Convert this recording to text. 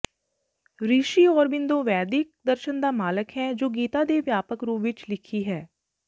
ਰਿਸ਼ੀ ਔਰਬਿੰਦੋ ਵੈਦਿਕ ਦਰਸ਼ਨ ਦਾ ਮਾਲਕ ਹੈ ਜੋ ਗੀਤਾ ਤੇ ਵਿਆਪਕ ਰੂਪ ਵਿਚ ਲਿਖੀ ਹੈ